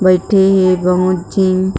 बईथे हे बहुत जिम --